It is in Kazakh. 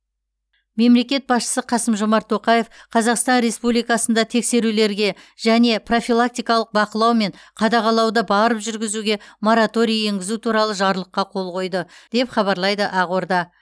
мемлекет басшысы қасым жомарт тоқаев қазақстан республикасында тексерулерге және профилактикалық бақылау мен қадағалауды барып жүргізуге мораторий енгізу туралы жарлыққа қол қойды деп хабарлайды ақорда